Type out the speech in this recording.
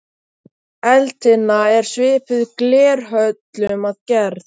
Eldtinna er svipuð glerhöllum að gerð.